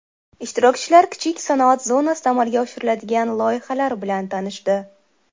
Ishtirokchilar kichik sanoat zonasida amalga oshiriladigan loyihalar bilan tanishdi.